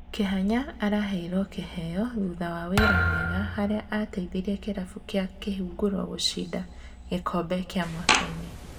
Kĩhanya aheirwo kĩheo thutha wa wĩra mwega harĩa ateithirie kĩrabu kĩa kĩhunguro gũcinda gĩkombe kĩa mwakainĩ.